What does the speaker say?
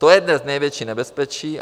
To je dnes největší nebezpečí.